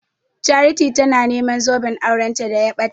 Charity tana neman zoben auranta da ya ɓata.